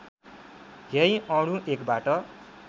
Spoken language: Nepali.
यही अणु एकबाट